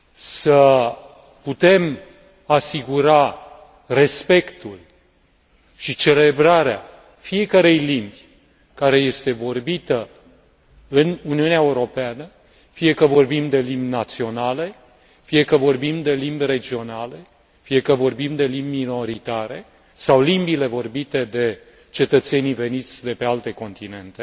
să putem asigura respectul și celebrarea fiecărei limbi care este vorbită în Uniunea Europeană, fie că vorbim de limbi naționale, fie că vorbim de limbi regionale, fie că vorbim de limbi minoritare sau limbile vorbite de cetățenii veniți de pe alte continente,